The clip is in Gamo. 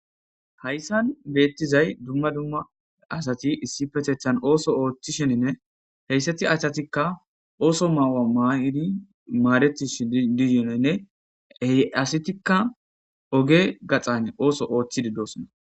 hayssan beettizay dumma dumma asati issi petethan ooso ooththi sheninne heyssati achatikka ooso maawa maaidi maaretishi dizinenne heyasitikka oge gaxane ooso oothchi diddosona